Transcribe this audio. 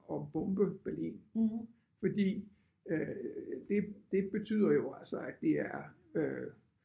At bombe Berlin. Fordi øh det det betyder jo altså at det er øh